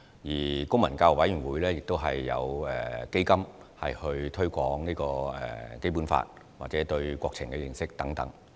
此外，公民教育委員會亦有基金推廣《基本法》或公民對國情的認識等。